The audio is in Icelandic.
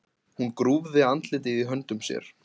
Hún grúfði andlitið í höndum sér.